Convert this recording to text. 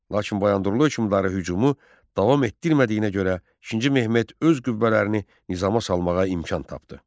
Lakin Bayandurlu hökmdarı hücumu davam etdirmədiyinə görə İkinci Mehmet öz qüvvələrini nizama salmağa imkan tapdı.